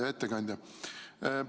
Hea ettekandja!